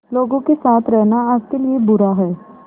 लोगों के साथ रहना आपके लिए बुरा है